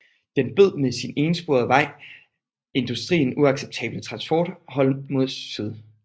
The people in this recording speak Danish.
Den bød med sin ensporede vej industrien uacceptable transportforhold mod syd